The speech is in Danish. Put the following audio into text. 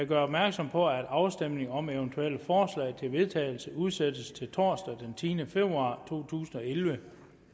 gøre opmærksom på at afstemning om eventuelle forslag til vedtagelse udsættes til torsdag den tiende februar to tusind og elleve